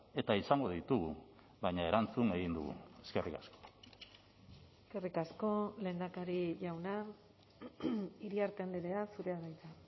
eta izango ditugu baina erantzun egin dugu eskerrik asko eskerrik asko lehendakari jauna iriarte andrea zurea da hitza